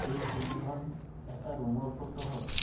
এই ছবিখন এটা ৰুমৰ ফটো হয়।